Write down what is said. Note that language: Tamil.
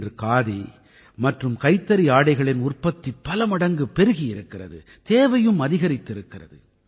இன்று காதி மற்றும் கைத்தறி ஆடைகளின் உற்பத்தி பல மடங்கு பெருகி இருக்கிறது தேவையும் அதிகரித்திருக்கிறது